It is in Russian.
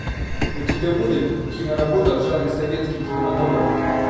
у тебя будет киноработа в жанре советский кинематограф